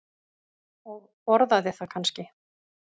Og borðaði það kannski?